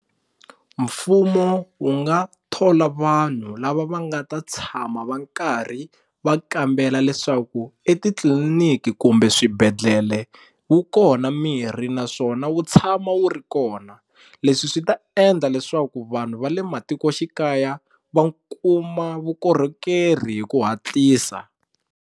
Mfumo wu nga thola vanhu lava va nga ta tshama va nkarhi va kambela leswaku etitliliniki kumbe swibedhlele wu kona mirhi naswona wu tshama wu ri kona leswi swi ta endla leswaku vanhu va le matikoxikaya va kuma vukorhokeri hi ku hatlisa.